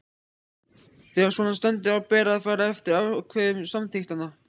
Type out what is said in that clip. Þegar svona stendur á ber að fara eftir ákvæðum samþykktanna.